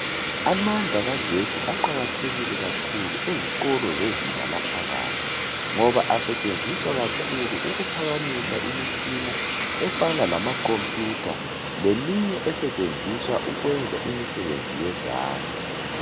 Amandla kagesti aqakathekile kakhulu ezikolo zezinga laphakathi ngoba asetshenziswa kakhulu ukuphakamisa imitshina efana lamakhompiyutha leminye esetshenziswa ukwenza imisebenzi yezandla